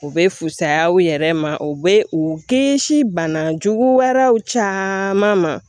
U bɛ fisaya u yɛrɛ ma u bɛ u kisi bana jugu wɛrɛw ma